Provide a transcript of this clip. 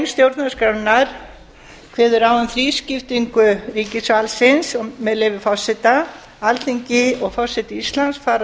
stjórnarskrárinnar er kveðið á um þrískiptingu ríkisvaldsins þar segir með leyfi forseta alþingi og forseti íslands fara